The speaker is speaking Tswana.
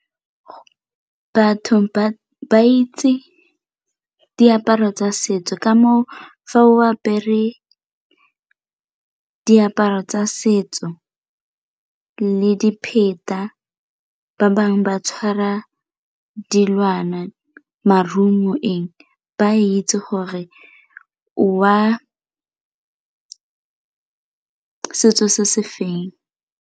Batho ba itse diaparo tsa setso ka moo fa o apere diaparo tsa setso le dipheta ba bangwe ba tshwara dilwana, maruo ba itse gore o wa setso se se feng.